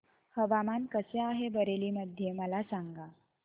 हवामान कसे आहे बरेली मध्ये मला सांगा